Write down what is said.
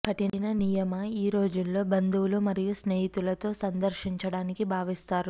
కఠిన నియమ ఈ రోజుల్లో బంధువులు మరియు స్నేహితులతో సందర్శించడానికి భావిస్తారు